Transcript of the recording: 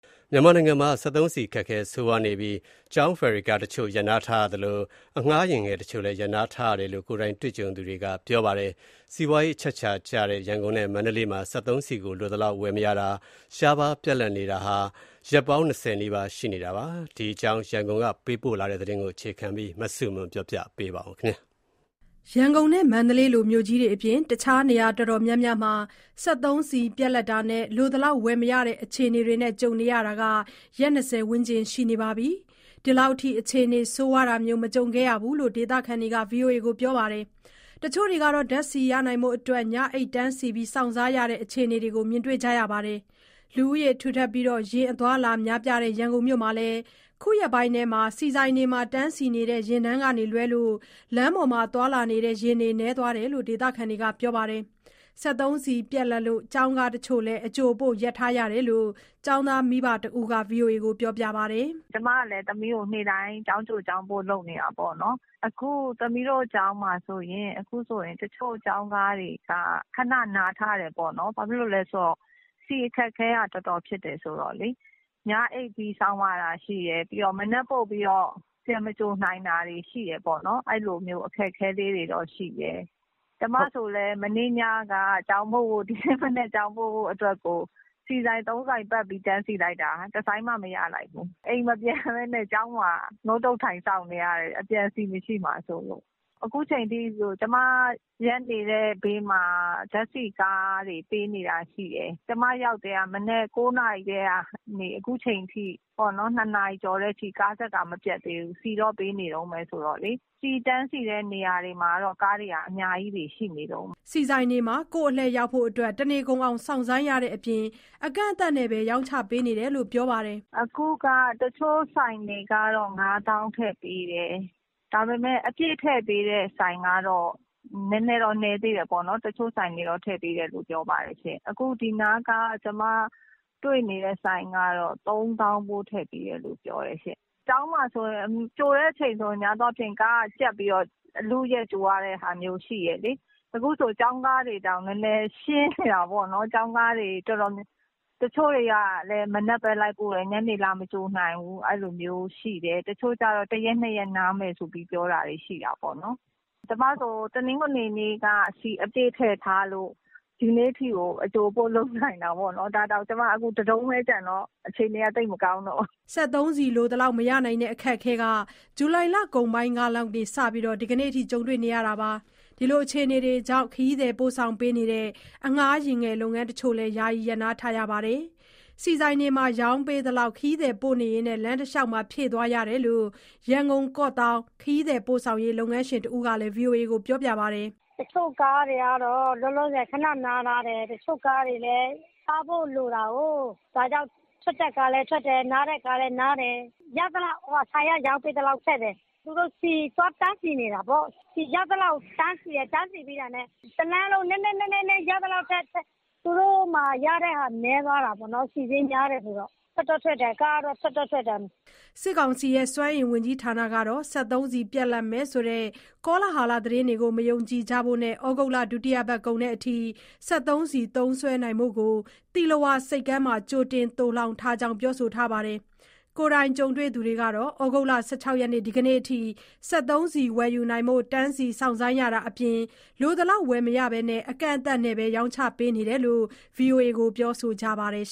မြန်မာနိုင်ငံမှာ စက်သုံးဆီ အခက်အခဲ ဆိုးရွားနေပြီး လက်ရှိ ကျောင်းဖယ်ရီကားတချို့ ရပ်နားထားရသလို၊ ခရီးသည်ပို့ဆောင်ပေးနေတဲ့ အငှားယာဉ်ငယ်တချို့လည်း ရပ်ထားရတယ်လို့ ကိုယ်တိုင်ကြုံတွေ့သူတွေက ဗွီအိုအေကိုပြောပါတယ်။ စီးပွားရေးအချက်အချာကျတဲ့ ရန်ကုန်နဲ့ မန္တလေးမှာ စက်သုံးဆီကို လိုသလောက် ဝယ်မရတာ၊ ရှားပါးပြတ်လပ်နေတာဟာ ရက်ပေါင်း၂၀ နီးပါးရှိနေတာပါ။ ရန်ကုန်ကပေးပို့ထားတဲ့ သတင်းကိုအခြေခံပြီး တင်ပြထားပါတယ်။ ရန်ကုန်နဲ့ မန္တလေးလို မြို့ကြီးတွေအပြင် အခြား နေရာတော်တော်များများမှာ စက်သုံးဆီပြတ်လပ်တာနဲ့ လိုသလောက်ဝယ်မရတဲ့ အခြေအနေတွေ ကြုံနေရတာ ရက် ၂၀ ဝန်းကျင်ရှိနေပြီး ဒီလောက်ထိ အခြေအနေဆိုးရွားတာမျိုးမကြုံခဲ့ရဘူးလို့ ဒေသခံတွေက ပြောပါတယ်။ တချို့တွေ ဓါတ်ဆီ ရနိုင်ဖို့အတွက် ညအိပ်တန်းစီစောင့်ဆိုင်းရတဲ့ အခြေအနေတွေကို မြင်တွေ့ကြရပါတယ်။ လူဦးရေထူထပ်ပြီး ယာဉ်အသွားအလာများပြားတဲ့ ရန်ကုန်မြို့မှာလည်း အခုရက်ပိုင်းထဲ ဆီဆိုင်တွေမှာ တန်းစီနေတဲ့ ယာဉ်တန်းကလွဲရင် လမ်းပေါ်မှာသွားလာနေတဲ့ ယာဉ်တွေနည်းသွားတယ်လို့ ဒေသခံတွေက ပြောပါတယ်။ စက်သုံးဆီပြတ်လပ်လို့ ကျောင်းကားတချို့လည်း အကြိုအပို့ရပ်ထားတယ်လို့ ကျောင်းသားမိဘတဦးက ဗွီအိုအေကို ပြောပါတယ်။ "ကျမလည်း သမီးကို နေ့တိုင်း ကျောင်းကြို၊ ကျောင်းပို့ လုပ်နေတာပေါ့နော်။ အခု သမီးတို့ကျောင်းမှာဆိုရင် တချို့ကျောင်းကားတွေက ခဏနားထားတယ်။ ဘာဖြစ်လို့လဲဆိုတော့ ဆီအခက်အခဲက တော်တော်ဖြစ်နေတာ။ ညအိပ်ပြီး စောင့်ရတာရှိတယ်။ ပြီးတော့ မနက်ပို့ပြီးတော့ ပြန်မကြိုနိုင်တာတွေ ရှိတယ်ပေါ့နော်။ အဲလိုမျိုး အခက်အခဲတွေတော့ရှိတယ်။ ကျမဆိုလည်း ဒီနေ့မနက် ကျောင်းပို့ဖို့အတွက်ကို မနေ့ညက ဆီဆိုင် ၃ဆိုင်ပတ်ပြီးတော့ တန်းစီလိုက်တာ တဆိုင်မှမရလိုက်ဘူး။ အခု အိမ်မပြန်ဘဲနဲ့ ကျောင်းမှာ ထိုင်စောင့်နေရတယ်။ အပြန် ဆီမရှိမှာစိုးလို့။ အခုချိန်ထိ ကျမကားရပ်နေတဲ့ဘေးမှာ ဓာတ်ဆီကားတွေ ပေးနေတာရှိတယ်။ ကျမရောက်နေတာ မနက် ၉နာရီကနေ အခုနေ့လည် ၂နာရီကျော်တဲ့အထိ ကားတန်းကမပြတ်သေးဘူး။ ဒီနေ့အထိ ဆီတန်းစီတဲ့ နေရာတွေမှာကတော့ ကားတွေက အများကြီးရှိနေတုန်းပဲ။" ဆီဆိုင်တွေမှာ ကိုယ့်အလှည့်ရောက်ဖို့ တနေကုန်အောင် စောင့်ဆိုင်းရတဲ့အပြင် အကန့်အသတ်နဲ့သာ ရောင်းချပေးနေတာလို့ ပြောပါတယ်။ "အခုက တချို့ဆိုင်တွေကတော့ ၅သောင်းထည့်ပေးတယ်။ ဒါပေမဲ့ အပြည့်ထည့်ပေးတဲ့ ဆိုင်ကတော့ နည်းသေးတယ်ပေါ့နော်။ အခုဒီနားက ကျမတွေ့နေတဲ့ ဆိုင်ကတော့ ၃သောင်းဖိုး ထည့်ပေးတယ်လို့ပြောတယ်။ ကျောင်းမှာဆိုရင် ကြိုတဲ့အချိန်ဆိုရင် ကားကြပ်ပြီးတော့ အလုအယက်ကြိုရတာမျိုး ရှိတယ်လေ။ အခုဆိုရင် ကျောင်းကားတွေတောင် နည်းနည်းရှင်းနေတယ်။ တချို့ကျောင်းကားတွေလည်း မနက်လိုက်ပို့တယ်၊ ညနေလာမကြိုနိုင်ဘူး။ တချို့ကျတော့ ၁ရက်၊ ၂ရက် နားမယ်ဆိုပြီး ပြောထားတာရှိတယ်။ ကျမဆိုရင် တနင်္ဂနွေနေ့က ဆီအပြည့်ထည့်ထားလို့ ဒီနေ့အထိကို အကြိုအပို့လုပ်နိုင်တာ။ ဒါတောင် အခု တတုံးပဲကျန်တော့ အခြေအနေက သိပ်မကောင်းတော့ဘူး။" စက်သုံးဆီလိုသလောက် မရနိုင်တဲ့အခက်အခဲက ဇူလိုင်လကုန်ပိုင်းလောက်ကစပြီး ဒီကနေ့အထိ ကြုံတွေ့နေရတာပါ။ ဒီအခြေအနေတွေကြောင့် ခရီးသည်ပို့ဆောင်ပေးနေတဲ့ အငှားယာဉ်ငယ်လုပ်ငန်းတချို့လည်း ယာယီရပ်နားထားရပါတယ်။ ဆီဆိုင်တွေမှာ ရောင်းပေးသလောက် ခရီးသည်ပို့နေရင်း လမ်းတလျှောက်ဖြည့်သွားရတယ်လို့ ရန်ကုန်-ကော့သောင်း ခရီးသည်ပို့ဆောင်ရေး လုပ်ငန်းရှင်တဦးက ဗွီအိုအေကို ပြောပါတယ်။ "တချို့ကားတွေကတော့ လောလောဆယ် ခဏနားထားတယ်။ တချို့ကားတွေလည်း စားဖို့လိုတာကို။ ဒါကြောင့် ထွက်တဲ့ကားလည်း ထွက်တယ်၊ နားတဲ့ကားလည်း နားတယ်။ ဆီကတော့ ရသလောက် ဆိုင်ကရောင်းပေးသလောက် ထည့်တယ်။ သူတို့ ဆီသွားတန်းစီနေတာပေါ့။ တန်းစီပြီးတာနဲ့ တလမ်းလုံး ရသလောက် နည်းနည်းစီထည့်ရတာ။ ကားတွေလည်း ရတဲ့ငွေနည်းသွားတယ်၊ ဆီစျေးက များနေတော့။ ကားတွေက ထွက်တော့ထွက်ပါတယ်။" စစ်ကောင်စီရဲ့ စွမ်းအင်ဝန်ကြီး ဌာနကတော့ စက်သုံးဆီပြတ်လပ်မယ်ဆိုတဲ့ ကောလဟာလသတင်းတွေကို မယုံကြဖို့နဲ့ ဩဂုတ်လ ဒုတိယပတ်ကုန်အထိ စက်သုံးဆီသုံးစွဲနိုင်ဖို့ကို သီလဝါဆိပ်ကမ်းမှာ ကြိုတင်သိုလှောင်ထားကြောင်း ပြောဆိုထားပါတယ်။ ကိုယ်တိုင်ကြုံတွေ့သူတွေကတော့ ဩဂုတ်လ ၁၆ ရက်၊ ဒီကနေ့အထိ စက်သုံးဆီဝယ်ယူနိုင်ဖို့ တန်းစီစောင့်ဆိုင်းရတာအပြင် လိုသလောက် ဝယ်မရဘဲ အကန့်အသတ်နဲ့သာ ရောင်းချပေးနေတယ်လို့ ဗွီအိုအေကို ပြောဆိုခဲ့ကြပါတယ်။